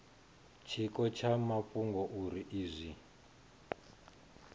tshiko tsha mafhungo uri izwi